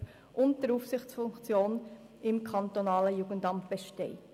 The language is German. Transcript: (Geschäftsleitung der Kindes- und Erwachsenenschutzbehörden) und der Aufsicht im KJA besteht.